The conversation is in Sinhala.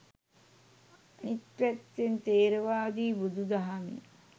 අනිත් පැත්තෙන් ථේරවාදී බුුදුදහමේ